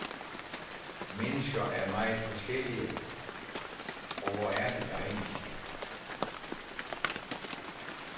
Mennesker er jo meget forskellige, og hvor er det dejligt.